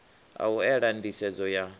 a u ela nḓisedzo ya